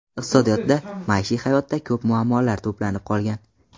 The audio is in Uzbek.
Iqtisodiyotda, maishiy hayotda ko‘p muammolar to‘planib qolgan.